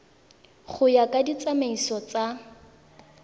go ya ka ditsamaiso tsa